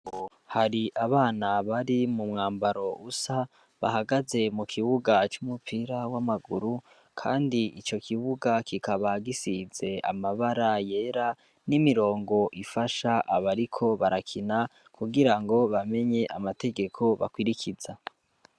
Hari abana bari mu mwambaro usa bahagaze mu kibuga c'umupira w'amaguru, kandi ico kibuga kikaba gisize amabara yera n'imirongo ifasha abariko barakina kugira ngo bamenye amategeko bakurikiza.